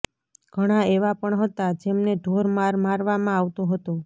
ઘણા એવા પણ હતા જેમને ઢોર માર મારવામાં આવતો હતો